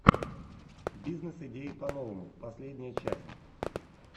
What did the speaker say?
бизнес идеи по новому последняя часть